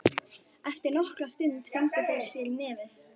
Eftir nokkra stund fengu þeir sér í nefið.